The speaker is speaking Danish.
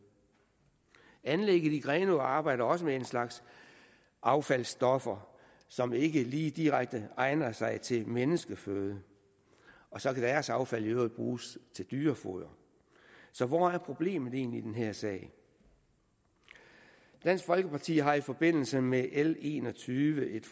anlægget i grenaa arbejder også med en slags affaldsstoffer som ikke lige direkte egner sig til menneskeføde og så kan deres affald i øvrigt bruges til dyrefoder så hvor er problemet egentlig i den her sag dansk folkeparti har i forbindelse med l en og tyve et